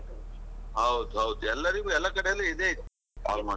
ಹೌದ್ ಹೌದು, ಎಲ್ಲರಿಗೂ ಎಲ್ಲಾ ಕಡೆಯಲ್ಲಿ ಇದೇ ಇದೆ almost .